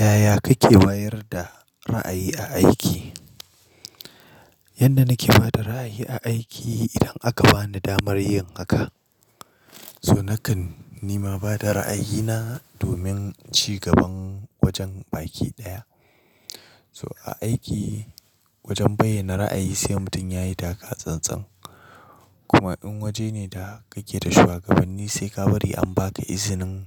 Yaya kake wayar da ra'ayi a aiki? Yanda nake ba da ra'ayi a aiki idan aka bani damar yin haka, so nakan nima bada ra'ayina domin cigaban wajen aiki ɗaya. So a aiki wajen bayyana ra'ayi sai mutum yayi taka tsantsan. Kuma in waje ne da kake da shuwagabanni sai ka bari an baka izinin